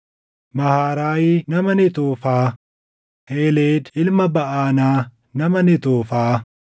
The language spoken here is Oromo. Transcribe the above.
Maharaayi nama Netoofaa, Heeled ilma Baʼanaa nama Netoofaa,